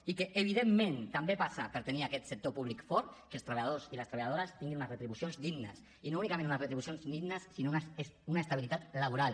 i que evidentment també passa per tenir aquest sector públic fort que els treballadors i les treballadores tinguin unes retribucions dignes i no únicament unes retribucions dignes sinó una estabilitat laboral